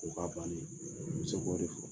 O ka banni muso bɛ o de fɔ.